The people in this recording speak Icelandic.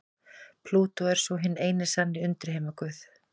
Plútó er svo hinn eini sanni undirheimaguð.